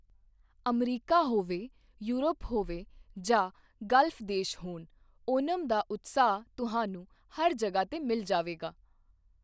America ਹੋਵੇ, Europe ਹੋਵੇ ਜਾਂ ਖਾੜੀ ਦੇਸ਼ ਹੋਣ, ਓਣਮ ਦਾ ਉਤਸ਼ਾਹ ਤੁਹਾਨੂੰ ਹਰ ਜਗ੍ਹਾ ਤੇ ਮਿਲ ਜਾਵੇਗਾ।